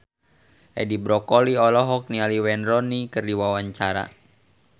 Edi Brokoli olohok ningali Wayne Rooney keur diwawancara